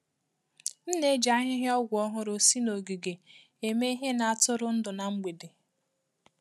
M na-eji ahịhịa ọgwụ ọhụrụ si n'ogige eme ihe na-atụrụ ndụ ná mgbede.